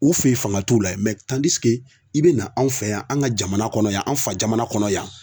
U fe yen fanga t'u la i bina anw fɛ yan an ka jamana kɔnɔ yan, an fa jamana kɔnɔ yan